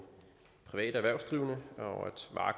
private erhvervsdrivende og